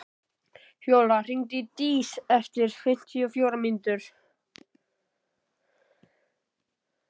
Fjóla, hringdu í Dís eftir fimmtíu og fjórar mínútur.